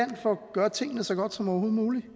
gøre tingene så godt som overhovedet muligt